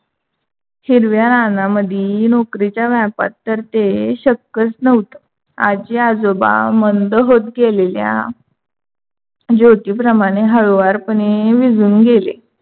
हिरव्या रानामध्ये नौकरीच्या व्यापात तर ते शक्यच नव्हत. आजी आजोबा मंद होता. गेलेल्या ज्योतीप्रमाणे हळूवारपणे विझून गेले.